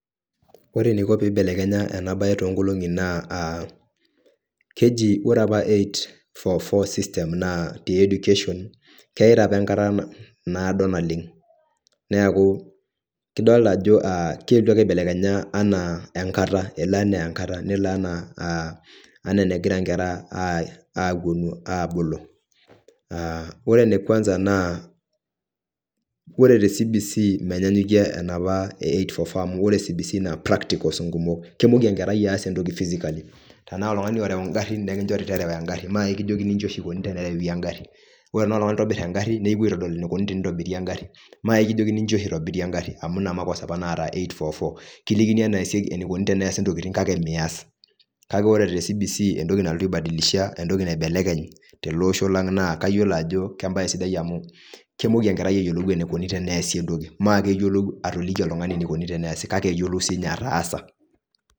Ore eneiko piibelekenya ena bae toonkolong'i naa keji ore apa 8-4-4 system te education naa keyaita opa enkata naado naleng. Neeku kidolita ajo keetu ake aibelekenya enaa enkata, nelo enaa enegira inkera apwonu. Ore ene kwanza naa ore te CBC menyanyukie enoopa 8-4-4 amu ore CBC naa practicals nkumok. Kemoku enkerai aas entoki physically. Ore naaji oltung'ani oreu ingarrin nekinchori terewa engarri mai kijokini nji oshi ikuni tenerewi engarri. Ore enaa oltung'ani oitobirr engarri nekinchori piintobiri engarri maikijokini inji oshi itobiri engarri amu ina makosa opa naata 8-4-4, kilikini enikuni eneesi ntokiting kake mias. Ore te CBC entoki nalotu aibadilisha ashu naibelekeny tele osho lang naa kayiolo ajo kembae sidai amu kemoku ayiolou enkerai enikuni teneesi entoki maakeyiolou atoliki oltung'ani enikuni tenesi kake eyiolou siininye ataasa